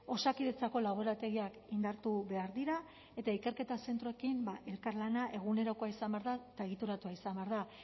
osakidetzako laborategiak indartu behar dira eta ikerketa zentroekin elkarlana egunerokoa izan behar da eta egituratua izan behar da